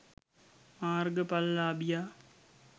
මාර්ග ඵල ලාභියා